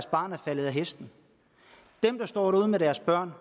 faldet hesten dem der står derude med deres børn